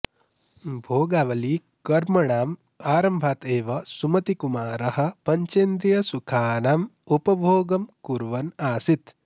भोगावलिकर्मणाम् आरम्भात् एव सुमतिकुमारः पञ्चेन्द्रियसुखानाम् उपभोगं कुर्वन् आसीत्